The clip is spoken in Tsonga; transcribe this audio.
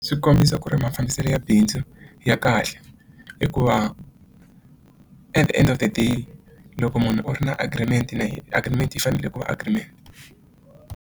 Swi kombisa ku ri mafambiselo ya bindzu ya kahle hikuva at the end of the day loko munhu u ri na agreement na yehe agreement yi fanele ku va agreement.